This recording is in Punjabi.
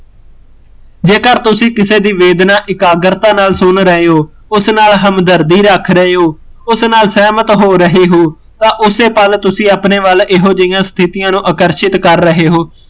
ਜੇਕਰ ਤੁਸੀਂ ਕਿਸੇ ਦੀ ਵੇਦਨਾ ਇਕਾਗਰਤਾ ਨਾਲ਼ ਸੁਣ ਰਹੇ ਹੋ, ਉਸ ਨਾਲ਼ ਹਮਦਰਦੀ ਰੱਖ ਰਹੇ ਹੋ, ਉਸ ਨਾਲ਼ ਸਹਿਮਤ ਹੋ ਰਹੇ ਹੋ, ਤਾਂ ਓਸੇ ਪਲ ਤੁਸੀਂ ਆਪਣੇ ਵੱਲ ਇਹੋ ਜਹੀਆ ਸਥਿਤੀਆ ਨੂੰ ਆਕਰਸ਼ਿਤ ਕਰ ਰਹੇ ਹੋ